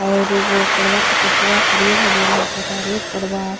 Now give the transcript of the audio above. और उ पेड़ बा के पतवा हरिहर-हरिहर लोका तारे --